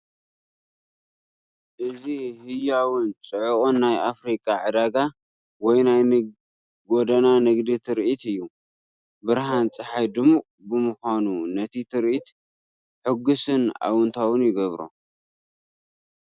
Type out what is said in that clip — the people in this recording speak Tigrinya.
እዚ ህያውን ጽዑቕን ናይ ኣፍሪቃ ዕዳጋ ወይ ናይ ጎደና ንግዲ ትርኢት እዩ! ብርሃን ጸሓይ ድሙቕ ብምዃኑ ነቲ ትርኢት ሕጉስን ኣወንታዊን ይገብሮ!